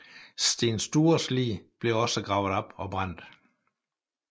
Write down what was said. Sten Stures lig blev også gravet op og brændt